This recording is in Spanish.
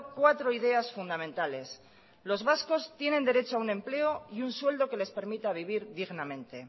cuatro ideas fundamentales los vascos tienen derecho a un empleo y un sueldo que les permita vivir dignamente